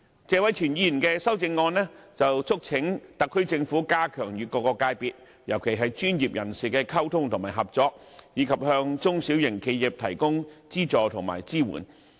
謝偉銓議員的修正案促請特區政府加強與各界別，特別是專業人士的溝通和合作，以及向中小型企業提供資助和支援。